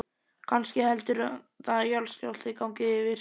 Kannski heldur það að jarðskjálfti gangi yfir.